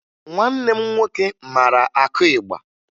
Nwanne m nwoke mara akụ ịgba